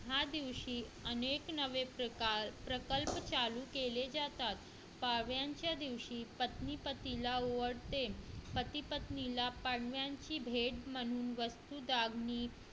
ह्या दिवशी अनेक नवे प्रकार प्रकल्प चालू केले जातात पाडव्याच्या दिवशी पत्नी पतीला ओवाळते पती पत्नीला पाडव्याची भेट म्हणून वस्तू दागिने